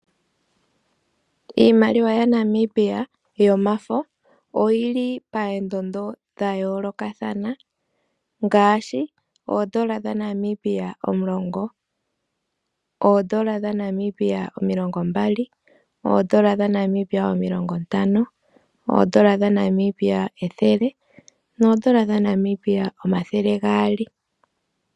Iimaliwa yaNamibia yomafo oyili paandondo dha yolokathana. Ngaashi oodollar dhaNamibia omulongo, oodollar dhaNamibia omilongo mbali , oodollar dhaNamibia omilongo ntano, oodollar dhaNamibia ethele noodollar dhaNamibia omathele gaali.